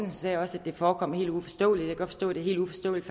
sagde også at det forekom helt uforståeligt og forstå det er helt uforståeligt